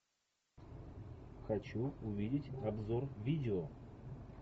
хочу увидеть обзор видео